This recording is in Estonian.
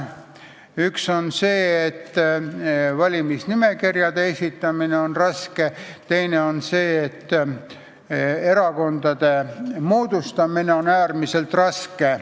Üks asi on see, et valimisnimekirjade esitamine on raske, teine on see, et erakondade moodustamine on äärmiselt raske.